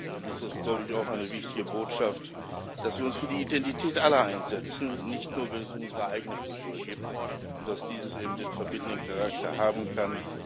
Dann ist das, glaube ich, auch eine wichtige Botschaft, dass wir uns für die Identität aller einsetzen, nicht nur, wenn es um unsere eigene Kultur geht, und dass dies eben den verbindenden Charakter haben kann.